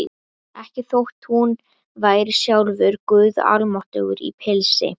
Ekki þótt hún væri sjálfur guð almáttugur í pilsi.